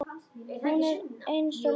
Hún var eins og lík.